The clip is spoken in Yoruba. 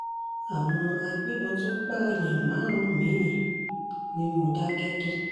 àwọn agbébọn tún pààyàn márùn-ún mi-ín ní mòdákẹ́kí